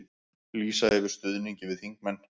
Lýsa yfir stuðningi við þingmenn